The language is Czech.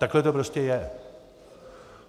Takhle to prostě je.